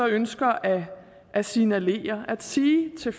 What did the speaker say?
ønsker at signalere at sige til